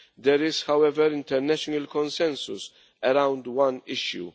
There is, however, international consensus around one issue.